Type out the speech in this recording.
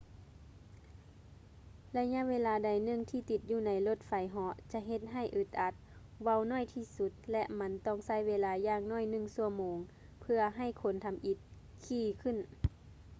ໄລຍະເວລາໃດໜຶ່ງທີ່ຕິດຢູ່ໃນລົດໄຟເຫາະຈະເຮັດໃຫ້ອຶດອັດ ເວົ້າໜ້ອຍທີ່ສຸດ ແລະ ມັນຕ້ອງໃຊ້ເວລາຢ່າງໜ້ອຍໜຶ່ງຊົ່ວໂມງເພື່ອໃຫ້ຄົນທຳອິດຂີ່ຂຶ້ນ